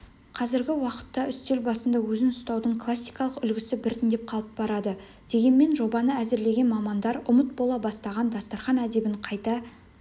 қазіргі уақытта үстел басында өзін ұстаудың классикалық үлгісі біртіндеп қалып барады дегенмен жобаны әзірлеген мамандар ұмыт бола бастаған дастарқан әдебін қайта